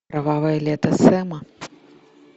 кровавое лето сэма